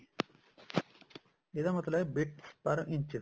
ਇਹਦਾ ਮਤਲਬ ਹੈ bit per inch